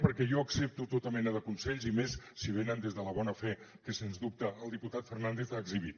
perquè jo accepto tota mena de consells i més si venen des de la bona fe que sens dubte el diputat fernández ha exhibit